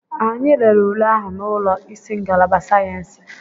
Anyị lere ule ahụ n'ụlọ isi ngalaba sayensị.